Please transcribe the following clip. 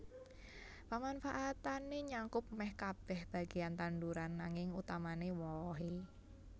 Pamanfaatané nyakup mèh kabèh bagéan tanduran nanging utamané wohé